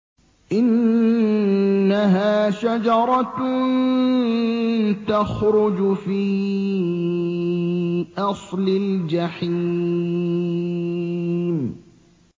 إِنَّهَا شَجَرَةٌ تَخْرُجُ فِي أَصْلِ الْجَحِيمِ